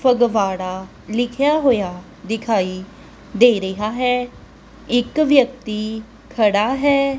ਫੁਗਵਾੜਾ ਲਿਖ਼ਿਆ ਹੋਇਆ ਦਿਖਾਈ ਦੇ ਰਿਹਾ ਹੈ ਇੱਕ ਵਿਅਕਤੀ ਖੜਾ ਹੈ।